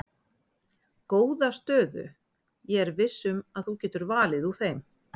Góða stöðu ég er viss um að þú getur valið úr þeim.